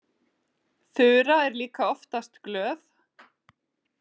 Þura er líka oftast glöð.